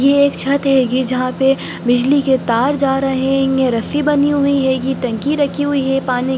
यह एक छत है जहा पे बिजली के तार जा रहे है| रस्सी बनी हुई है| टंकी रखी हुई है पानी की ।